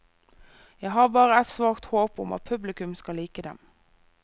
Jeg har bare et svakt håp om at publikum skal like dem.